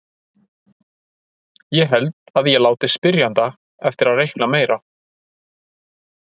Ég held að ég láti spyrjanda eftir að reikna meira.